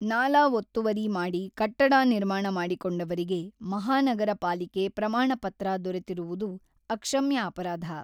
ನಾಲಾ ಒತ್ತುವರಿ ಮಾಡಿ ಕಟ್ಟಡ ನಿರ್ಮಾಣ ಮಾಡಿಕೊಂಡವರಿಗೆ ಮಹಾನಗರ ಪಾಲಿಕೆ ಪ್ರಮಾಣ ಪತ್ರ ದೊರೆತಿರುವದು ಅಕ್ಷಮ್ಯ ಅಪರಾಧ.